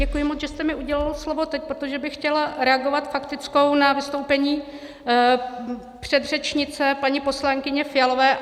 Děkuji moc, že jste mi udělil slovo teď, protože bych chtěla reagovat faktickou na vystoupení předřečnice, paní poslankyně Fialové.